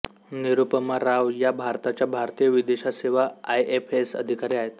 निरूपमा राव या भारताच्या भारतीय विदेश सेवा आयएफएस अधिकारी आहेत